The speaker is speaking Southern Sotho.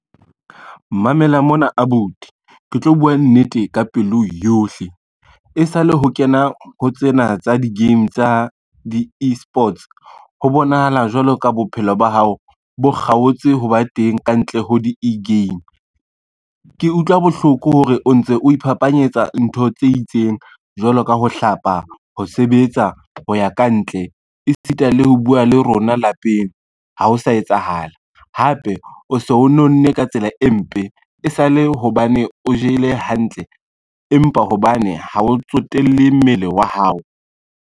Mamela mona abuti, ke tlo bua nnete ka pelo yohle, e sa le ho kena ho tsena tsa di-game tsa di-e-sports, ho bonahala jwalo ka bophelo ba hao bo kgaotse ho ba teng kantle ho di e-game. Ke utlwa bohloko hore o ntse o iphapanyetsa ntho tse itseng, jwalo ka ho hlapa, ho sebetsa, ho ya kantle, e sita le ho bua le rona lapeng ha o sa etsahala, hape o so o nonne ka tsela e mpe, e sale hobane o jele hantle empa hobane ha o tsotelle mmele wa hao.